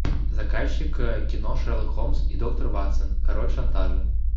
заказчик кино шерлок холмс и доктор ватсон король шантажа